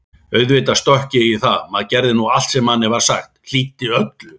Auðvitað stökk ég í það, maður gerði nú allt sem manni var sagt, hlýddi öllu.